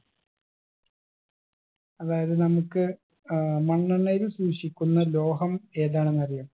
അതായത് നമുക്ക് ഏർ മണ്ണെണ്ണയിൽ സൂക്ഷിക്കുന്ന ലോഹം ഏതാണെന്നറിയോ